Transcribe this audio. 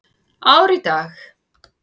Ár í dag.